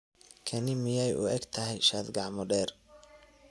Kani miyay u egtahay shaadh gacmo-dheer?